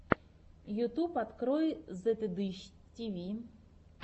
ютьюб открой зетыдыщ тиви